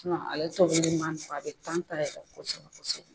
ale tɔ kelen a bɛ ta yɛrɛ kosɛbɛ kosɛbɛ.